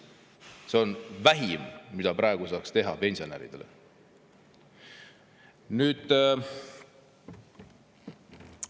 See on vähim, mida praegu saaks teha pensionäride.